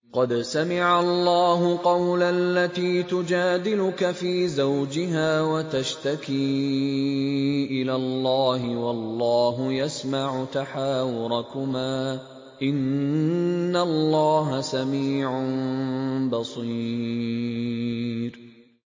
قَدْ سَمِعَ اللَّهُ قَوْلَ الَّتِي تُجَادِلُكَ فِي زَوْجِهَا وَتَشْتَكِي إِلَى اللَّهِ وَاللَّهُ يَسْمَعُ تَحَاوُرَكُمَا ۚ إِنَّ اللَّهَ سَمِيعٌ بَصِيرٌ